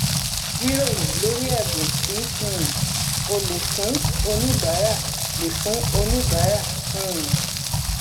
jíròrò lórí ẹbùn tí um o lè fún oníbàárà lè fún oníbàárà um